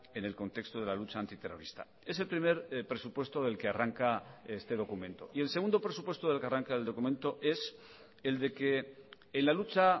en el contexto de la lucha antiterrorista es el primer presupuesto del que arranca este documento y el segundo presupuesto del que arranca el documento es el de que en la lucha